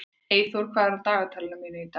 Eyþór, hvað er á dagatalinu mínu í dag?